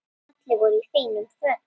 Allir voru í fínum fötum.